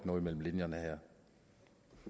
noget mellem linjerne